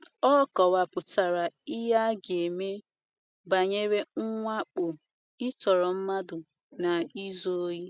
Ọ kọwapụtara ihe a ga - eme banyere mwakpo, ịtọrọ mmadụ, na izu ohi.